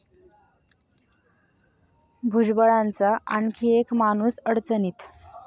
भुजबळांचा आणखी एक 'माणूस'अडचणीत